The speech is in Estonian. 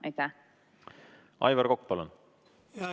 Aivar Kokk, palun!